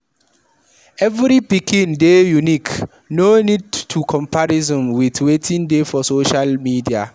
Every pikin dey unique, no need to comparison with wetin dey for social media